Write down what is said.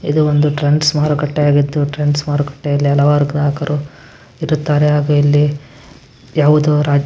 ಇದು ಒಂದು ಟ್ರೆಂಡ್ಸ್‌ ಮಾರುಕಟ್ಟೆ ಆಗಿತ್ತು ಟ್ರೆಂಡ್ಸ್‌ ಮಾರುಕಟ್ಟೆಯಲ್ಲಿ ಹಲವಾರು ಗ್ರಾಹಕರು ಇರುತ್ತಾರೆ ಹಾಗೂ ಇಲ್ಲಿ ಯಾವುದೋ ರಾಜ್ಯದ---